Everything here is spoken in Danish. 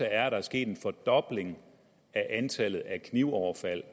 er at der er sket en fordobling i antallet af knivoverfald